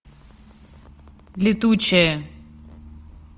летучая